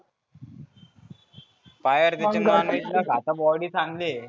काय यार त्याची नॉनव्हेज न खाता बॉडी चांगली आहे.